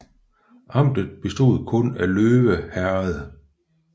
Amtet bestod kun af Løve Herred